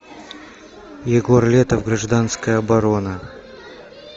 егор летов гражданская оборона